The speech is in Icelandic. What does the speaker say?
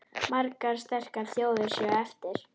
Margar sterkar þjóðir séu eftir.